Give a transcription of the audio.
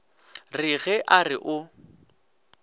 re ge a re o